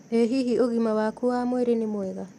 Ĩ hihi ũgima waku wa mwĩrĩ nĩ mwega?